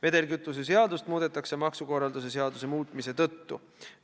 Vedelkütuse seadust muudetakse maksukorralduse seaduse muutmise tõttu.